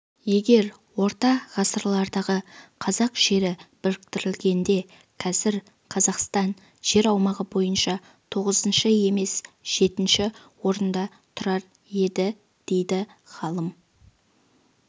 егер орта ғасырлардағы қазақ жері біріктірілгенде қазір қазақстан жер аумағы бойынша тоғызыншы емес жетінші орында тұрар еді дейді ғалым